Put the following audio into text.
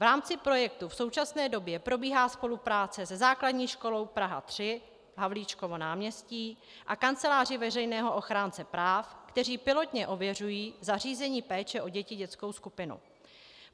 V rámci projektu v současné době probíhá spolupráce se Základní školou Praha 3, Havlíčkovo náměstí, a Kanceláří veřejného ochránce práv, které pilotně ověřují zařízení péče o děti dětskou skupinou.